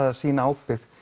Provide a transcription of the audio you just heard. að sýna ábyrgð